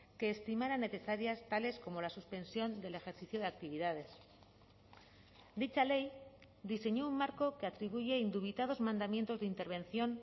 que estimarán necesarias tales como la suspensión del ejercicio de actividades dicha ley diseñó un marco que atribuye indubitados mandamientos de intervención